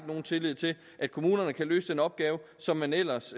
nogen tillid til at kommunerne kan løse den opgave som man ellers